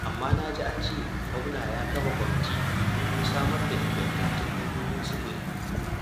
Amma na ji an ce gwamna ya kafa kwamiti domin samar da ingantattun hanyoyin sufuri.